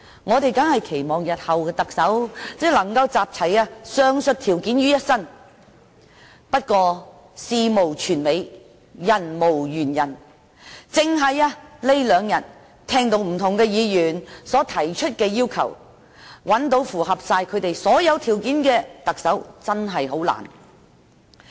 我們當然期望日後的特首能夠集齊上述條件於一身，但事無全美，人無完人，單是近兩天聽到不同議員提出的要求，要找到符合他們所有條件的特首真的很困難。